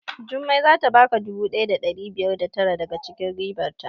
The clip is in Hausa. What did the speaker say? Jummai zata baka naira dubu ɗaya da ɗari biyar da tara daga cikin ribar ta